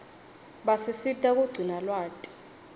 basisita kugcina lwati